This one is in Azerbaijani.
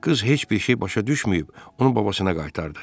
Qız heç bir şey başa düşməyib, onu babasına qaytardı.